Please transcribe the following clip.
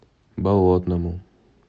болотному